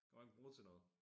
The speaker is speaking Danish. Kan man ikke bruge til noget